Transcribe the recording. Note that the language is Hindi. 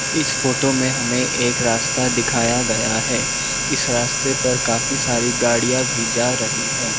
इस फोटो में हमें एक रास्ता दिखाया गया है इस रास्ते पर काफी सारी गाड़ियां भी जा रही हैं।